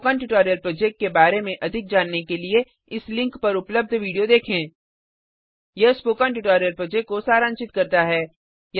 spoken tutorial project के बारे में अधिक जानने के लिए इस लिंक पर उपलब्ध वीडियो देखें httpspoken tutorialorgWhat is a Spoken Tutorial यह स्पोकन ट्यूटोरियल प्रोजेक्ट को सारांशित करता है